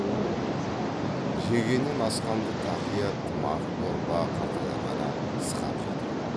жегеннен асқанды тақия тымақ дорба қалталарға да сықап жатыр